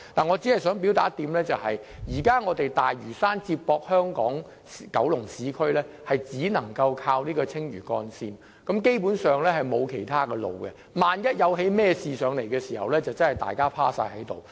我只想表達一點，現時大嶼山接駁香港和九龍市區只能依靠青嶼幹線，基本上，並沒有其他路線選擇，萬一發生事故，大家真的不知如何是好。